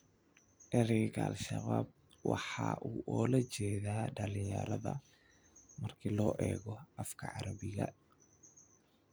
Erayga al-Shabab waxa uu ula jeedaa dhalinyarada marka loo eego afka carabiga.